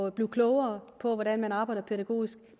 at blive klogere på hvordan man arbejder pædagogisk